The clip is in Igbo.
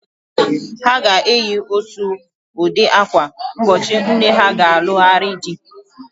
Ha ga-eyi ótù ụdị ákwà n'ụbọchị nne ha ga-alụgharị di.